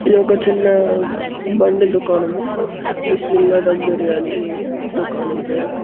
ఇది ఒక చిన్న బండి దుకాణము బిస్మిల్లా దమ్ బిర్యానీ దుకాణం పేరు.